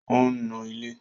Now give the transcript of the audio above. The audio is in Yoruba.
Ò ń nu ilẹ̀